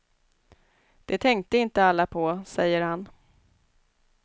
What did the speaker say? Det tänkte inte alla på, säger han.